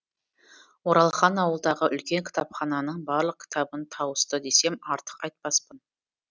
оралхан ауылдағы үлкен кітапхананың барлық кітабын тауысты десем артық айтпаспын